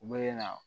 U bɛ na